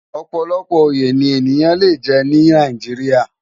Òpòlòpò óyé ni éniyán lé jè ni Nàijiriá